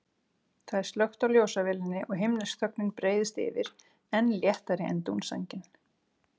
Það er slökkt á ljósavélinni og himnesk þögnin breiðist yfir, enn léttari en dúnsængin.